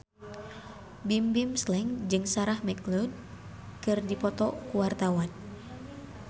Bimbim Slank jeung Sarah McLeod keur dipoto ku wartawan